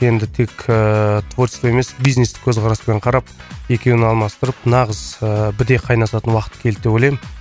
енді тек ііі творчество емес бизнестік көзқараспен қарап екеуін алмастырып нағыз ыыы біте қайнасатын уақыт келді деп ойлаймын